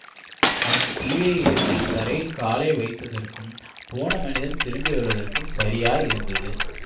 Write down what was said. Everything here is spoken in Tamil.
அவன் கீழே இறங்கி தரையில் காலை வைத்ததற்கும் போன மனிதன் திரும்பி வருவதற்கும் சரியாயிருந்தது